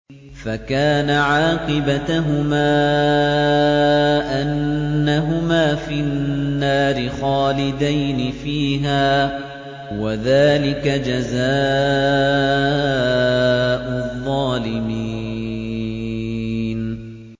فَكَانَ عَاقِبَتَهُمَا أَنَّهُمَا فِي النَّارِ خَالِدَيْنِ فِيهَا ۚ وَذَٰلِكَ جَزَاءُ الظَّالِمِينَ